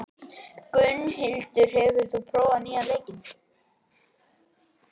Gunnhildur, hefur þú prófað nýja leikinn?